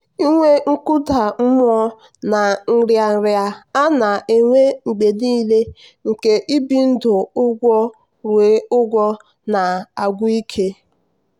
inwe nkụda mmụọ na nrịanrịa a na-enwe mgbe nile nke ibi ndụ ụgwọruo ụgwọ na-agwụ ike.